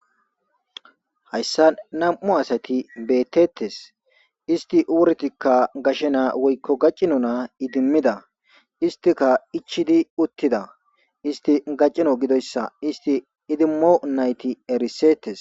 hayssa nam7u asati beettettes isti wurtikka gashenaa woykko gaccino na idimmida istika ichidi uttida isti gaccino gidoyssa isti idimmo nayti erisetes